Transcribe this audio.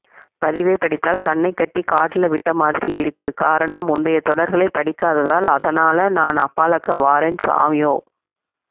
பதிவை படித்தால் கண்ணைக்கட்டி காட்டுல விட்ட மாதிரி இருக்குகாரணம் முந்தையை தொடர்களை படிக்காததால் அதனால நான் அப்பாலக்க வாரேன் சுவாமியோ